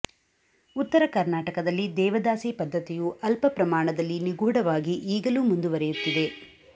ಉತ್ತರ ಕರ್ನಾಟಕದಲ್ಲಿ ದೇವದಾಸಿ ಪದ್ಧತಿಯು ಅಲ್ಪಪ್ರಮಾಣದಲ್ಲಿ ನಿಗೂಢ ವಾಗಿ ಈಗಲೂ ಮುಂದುವರೆಯುತ್ತಿದೆ